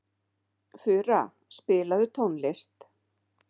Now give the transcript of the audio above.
Fura, spilaðu tónlist.